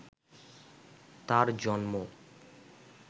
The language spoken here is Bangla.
তার জন্ম